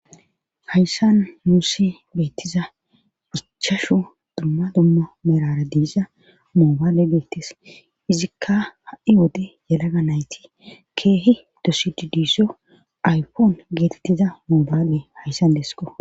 hayssan muussi beettiza phichashu dumma dumma merara diiza moobaale geettes izikka ha7i wode yelaga nayti keehi dosiddsso aypoon geetettiza mobaale hayssan desko